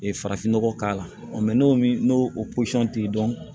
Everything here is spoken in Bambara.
farafinnɔgɔ k'a la n'o n'o pɔsɔn t'i dɔn